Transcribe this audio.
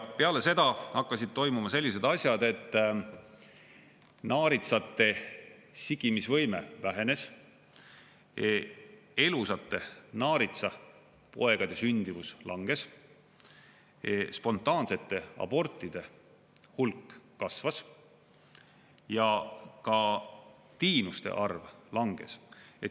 Peale seda hakkasid toimuma sellised asjad, et naaritsate sigimisvõime vähenes, elusate naaritsapoegade sündivus langes, spontaansete abortide hulk kasvas ja ka tiinuste arv langes.